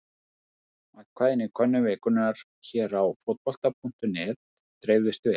Atkvæðin í könnun vikunnar hér á Fótbolta.net dreifðust vel.